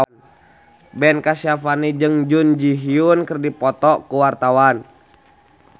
Ben Kasyafani jeung Jun Ji Hyun keur dipoto ku wartawan